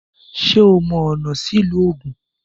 Ṣé ò mọ ọ̀nà sí ìlú Ògùn?